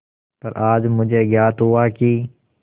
पर आज मुझे ज्ञात हुआ कि